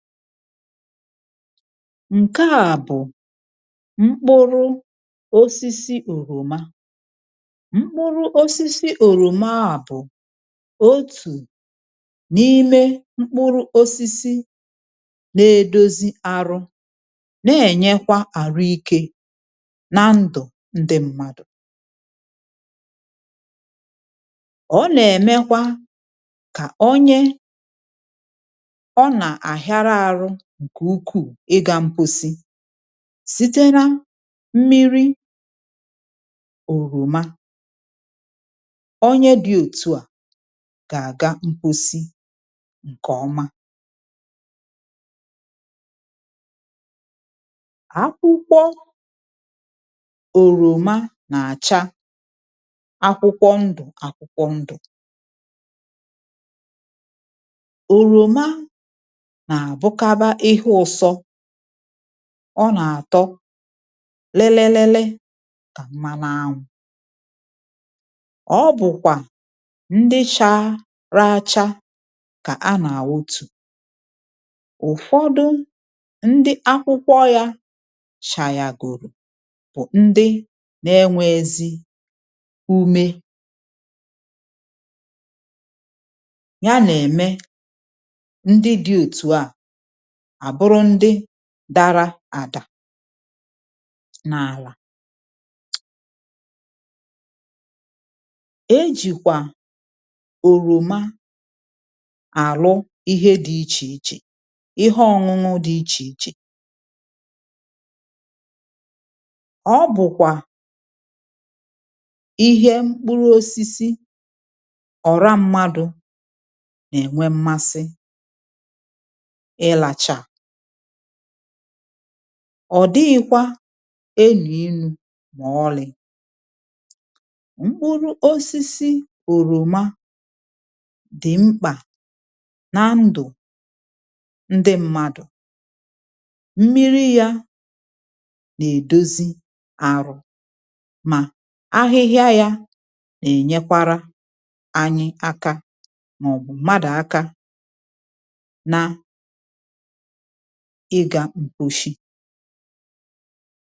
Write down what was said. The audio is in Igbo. Nke à bụ̀ mkpụrụ osisi òròma. Mkpụrụ osisi òròma à bụ̀ otù n’ime mkpụrụ osisi na-edozi arụ, na-ènyekwa àrụ ike na ndụ̀ ǹdị m̀madụ̀. Ọ nà-èmekwa ka onyė ọ nà ahiȧrȧ ahụ ǹkè ukwù ị gȧ mkposi, sitere mmiri òròma, onye dị̇ òtù a, gà-àga mkposi ǹkè ọma. Akwụkwọ òròma nà-àcha, akwụkwọ ndụ̀, akwụkwọ ndụ̀. Oròma na abu kà ba ìhe ǹsọ. ọ nà-àtọ lililili kà mmanu anwụ̇. ọ bụ̀kwà ndị chara acha kà a nà-àwutù. ụ̀fọdụ ndị akwụkwọ yȧ cha yà gùrù, bụ̀ ndị nȧ-enweghiezi umė, yà nà-emè ǹdi di otu a, a bụrụ ǹdi dara àdà n’àlà. E jìkwà òròma alu ìhe di ichè ichè, Ihe onunu di ichè ichè. ọ̀ bukwȧ ìhe mkpụrụ osisi ora mmadụ n'enwe mmasi i lacha. ọ̀ dịghiikwa enù inu̇ mà ọlị̀. Mkpụrụ osisi òròma dị̀ mkpà na ndụ̀ ndị mmadụ̀, mmiri ya nà-èdozi àrụ̀, mà ahịhịa ya, na-ènyekwara anyị aka mà ọ bụ̀ mmadụ̀ aka ịga mkposi.